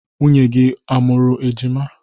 Nwunye gị a mụrụ ejima?